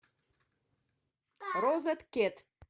розеткед